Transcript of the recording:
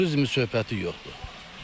Turizm söhbəti yoxdur.